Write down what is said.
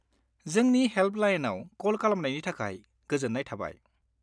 जोंनि हेल्पलाइनाव कल खालामनायनि थाखाय गोजोन्नाय थाबाय।